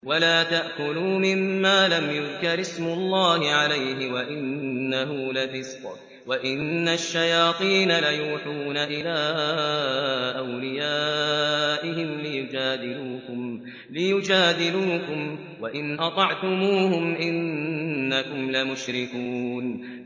وَلَا تَأْكُلُوا مِمَّا لَمْ يُذْكَرِ اسْمُ اللَّهِ عَلَيْهِ وَإِنَّهُ لَفِسْقٌ ۗ وَإِنَّ الشَّيَاطِينَ لَيُوحُونَ إِلَىٰ أَوْلِيَائِهِمْ لِيُجَادِلُوكُمْ ۖ وَإِنْ أَطَعْتُمُوهُمْ إِنَّكُمْ لَمُشْرِكُونَ